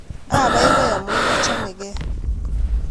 abaibai amun achomekei